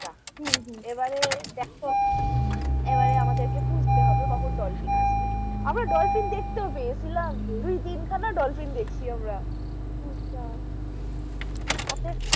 এবারে দেখো এবারে আমাদের কে খুঁজতে হবে কখন dolphin আসবে আমরা dolphin দেখতেও পেয়েছিলাম, দুতিন খানা dolphin দেখছি আমরা আচ্ছা